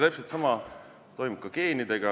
Täpselt sama toimub ka geenidega.